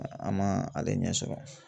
An ma ale ɲɛ sɔrɔ.